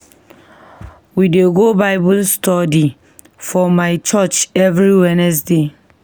We dey go Bible study for my church every Wednesday.